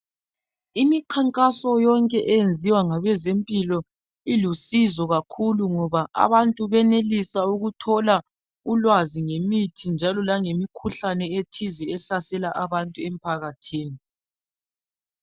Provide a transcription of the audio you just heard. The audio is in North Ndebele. Imikhankaso konke eyenziwa ngabezempilo ilusizo kakhulu ngoba abantu benelisa ukuthola ulwazi ngemithi njalo langemikhuhlane etizi ehlasela abantu empakathini.